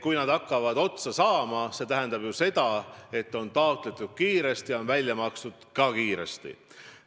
Kui summad hakkavad otsa saama, siis see tähendab ju seda, et on taotletud kiiresti ja on välja makstud ka kiiresti.